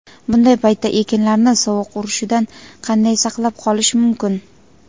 bunday paytda ekinlarni sovuq urishidan qanday saqlab qolish mumkin?.